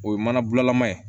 O ye mana bulalama ye